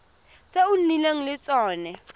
tse o nnileng le tsone